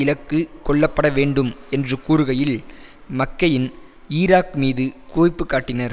இலக்கு கொள்ளப்பட வேண்டும் என்று கூறுகையில் மக்கெயின் ஈராக் மீது குவிப்பு காட்டினார்